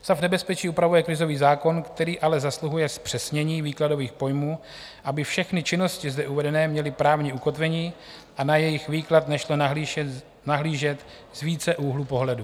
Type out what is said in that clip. Stav nebezpečí upravuje krizový zákon, který ale zasluhuje zpřesnění výkladových pojmů, aby všechny činnosti zde uvedené měly právní ukotvení a na jejich výklad nešlo nahlížet z více úhlů pohledu.